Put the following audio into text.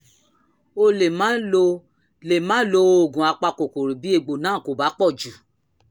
o lè má lo lè má lo oògùn apakòkòrò bí egbò náà kò bá pọ̀ jù